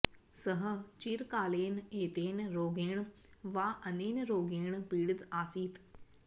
सः चिरकालेन एतेन रोगेण वा अनेन रोगेण पीडित आसीत्